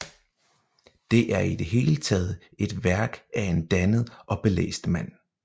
Det er i det hele taget et værk af en dannet og belæst mand